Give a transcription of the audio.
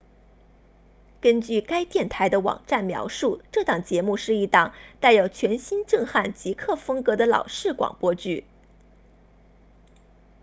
根据该电台的网站描述这档节目是一档带有全新震撼极客风格的老式广播剧